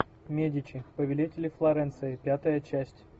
медичи повелители флоренции пятая часть